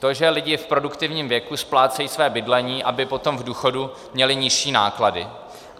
To, že lidé v produktivním věku splácejí své bydlení, aby potom v důchodu měli nižší náklady.